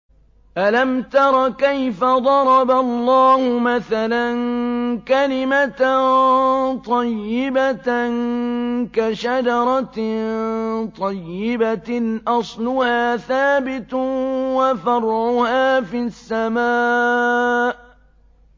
أَلَمْ تَرَ كَيْفَ ضَرَبَ اللَّهُ مَثَلًا كَلِمَةً طَيِّبَةً كَشَجَرَةٍ طَيِّبَةٍ أَصْلُهَا ثَابِتٌ وَفَرْعُهَا فِي السَّمَاءِ